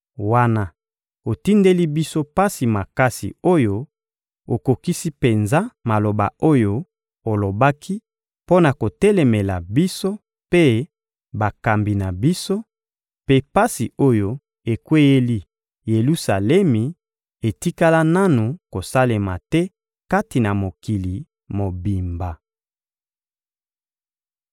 Wana otindeli biso pasi makasi oyo, okokisi penza maloba oyo olobaki mpo na kotelemela biso mpe bakambi na biso; mpe pasi oyo ekweyeli Yelusalemi etikala nanu kosalema te kati na mokili mobimba.